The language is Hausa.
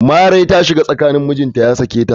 Larai ta shiga tsakani mijinta ya sake ta.